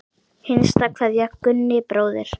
HINSTA KVEÐJA Gunni bróðir.